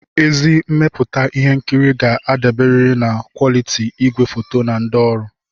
Ezi mmepụta ihe nkiri ga-adaberiri na kwoliti igwefoto na ndị ọrụ.